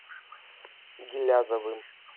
гилязовым